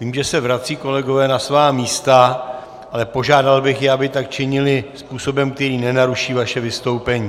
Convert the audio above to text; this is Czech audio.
Vím, že se vracejí kolegové na svá místa, ale požádal bych je, aby tak činili způsobem, který nenaruší vaše vystoupení.